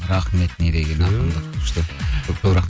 рахмет не деген ақындық